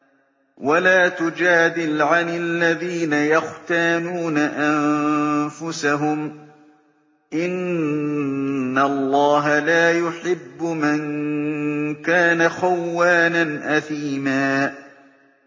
وَلَا تُجَادِلْ عَنِ الَّذِينَ يَخْتَانُونَ أَنفُسَهُمْ ۚ إِنَّ اللَّهَ لَا يُحِبُّ مَن كَانَ خَوَّانًا أَثِيمًا